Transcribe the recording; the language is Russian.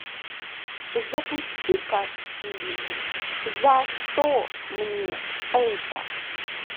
запусти ка фильм за что мне это